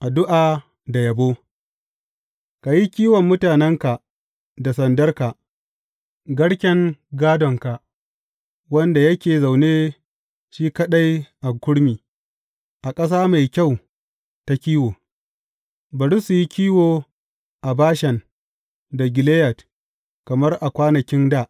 Addu’a da yabo Ka yi kiwon mutanenka da sandarka, garken gādonka, wanda yake zaune shi kaɗai a kurmi, a ƙasa mai kyau ta kiwo, bari su yi kiwo a Bashan da Gileyad kamar a kwanakin dā.